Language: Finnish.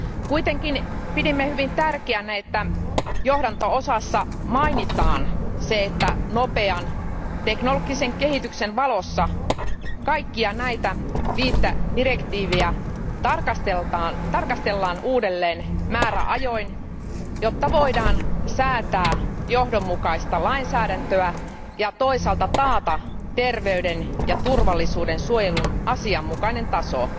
Kuitenkin pidimme hyvin tärkeänä, että johdanto osassa mainitaan se, että nopean teknologisen kehityksen valossa kaikkia näitä viittä direktiiviä tarkastellaan uudelleen määräajoin, jotta voidaan säätää johdonmukaista lainsäädäntöä ja toisaalta taata terveyden ja turvallisuuden suojelun asianmukainen taso